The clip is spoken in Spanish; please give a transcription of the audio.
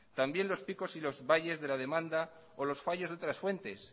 también los picos y los valles de la demanda o los fallos de otras fuentes